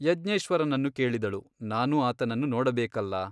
ಯಜ್ಞೇಶ್ವರನನ್ನು ಕೇಳಿದಳು ನಾನು ಆತನನ್ನು ನೋಡಬೇಕಲ್ಲ.